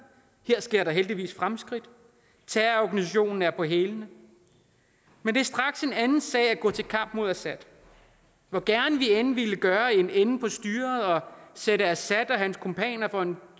sker der heldigvis fremskridt terrororganisationen er på hælene men det er straks en anden sag at gå til kamp mod assad hvor gerne vi end ville gøre en ende på styret og stille assad og hans kumpaner for en